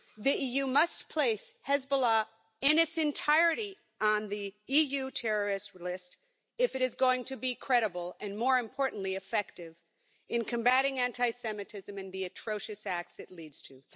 The EU must place Hezbollah in its entirety on the EU terrorist list if it is going to be credible and, more importantly, effective in combating anti Semitism and the atrocious acts it leads to.